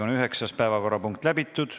Üheksas päevakorrapunkt on läbitud.